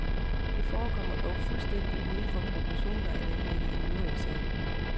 Det forekommer dog fulstændig uden for proportioner at anlægge injuriesag.